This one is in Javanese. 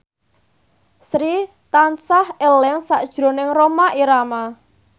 Sri tansah eling sakjroning Rhoma Irama